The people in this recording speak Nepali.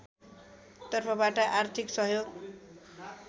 तर्फबाट आर्थिक सहयोग